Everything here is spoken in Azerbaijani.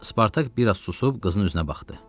Spartak biraz susub qızın üzünə baxdı.